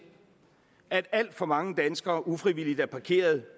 at alt for mange danskere ufrivilligt er parkeret